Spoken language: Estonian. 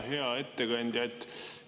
Hea ettekandja!